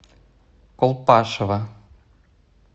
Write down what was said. колпашево